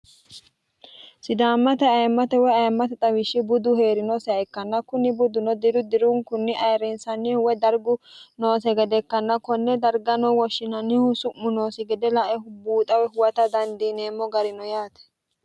sidaammate ayemmate woy ayemmate xawishshi budu heerinoseha ikkanna kunni budduno diru dirunikunni ayirriinsannihu woy dargu noose gade ikkanna konne darga noo woshshinannihu su'mu noosi gede laehu buuxawe huwata dandiineemmo garino yaate